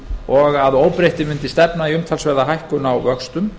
og að óbreyttu mundi stefna í umtalsverða hækkun á vöxtum